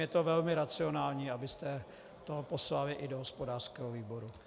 Je to velmi racionální, abyste to poslali i do hospodářského výboru.